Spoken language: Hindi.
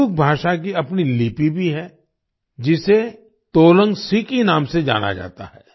कुडुख भाषा की अपनी लिपि भी है जिसे तोलंग सिकी नाम से जाना जाता है